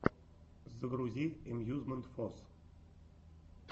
загрузи эмьюзмент фос